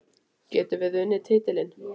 Getum við unnið titilinn?